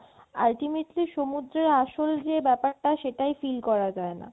ultimately সমুদ্রের আসল যে ব্যাপারটা সেটাই feel করা যায় না